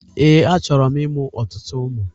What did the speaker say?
Ee, a chọrọ m ịmụ ọtụtụ ụmụ